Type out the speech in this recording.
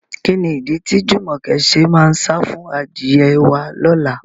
Kí ni ìdí tí Jùmọ̀kẹ́ ṣe máa sá fún adìyẹ wá lọ́la?